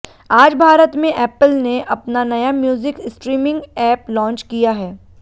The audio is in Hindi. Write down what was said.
आज भारत में एप्पल ने अपना नया म्यूजिक स्ट्रीमिंग ऐप लॉन्च किया है